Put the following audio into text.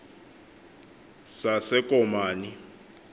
sasekomani